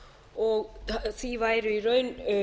og því væri í raun